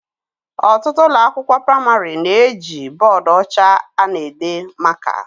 Ọtụtụ ụlọ akwụkwọ pramarị na eji bọdụ ọcha ana ede maka